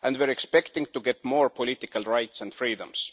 and were expecting to get more political rights and freedoms.